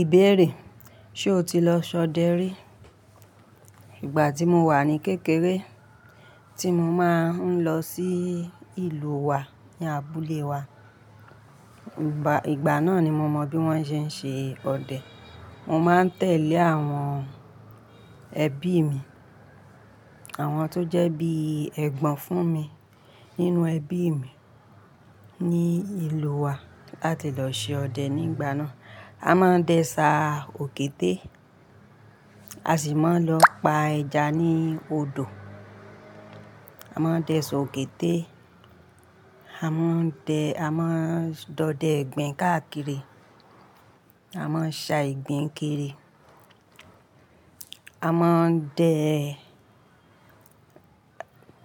Ìbéèrè: ṣe o ti lọ ṣọdẹ rí? Ìgbà tí mo wà ní kékeré tí mo máa ń lọ sí ìlú wa ní abúlé wa. Ìgbà, ìgbà náà ni mo mọ bí wọ́n ṣe ń ṣe ọdẹ. Mo máa ń tẹ̀lé àwọn ẹbí mi, àwọn tó jẹ́ bí ẹ̀gbọ́n fún mi nínú ẹbí mi ní ìlú wa láti lọ ṣe ọdẹ nígbà náà. A máa ń dẹ ṣà òkété, a sì máa ń lọ pa ẹja ní odò. A máa ń dẹ ṣà òkété, a máa ń dẹ, a máa ń dọdẹ ìgbín káàkiri, a máa ń ṣà ìgbín kiri A máa ń dẹ